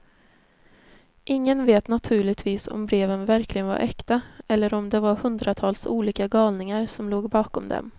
Ingen vet naturligtvis om breven verkligen var äkta, eller om det var hundratals olika galningar som låg bakom dem.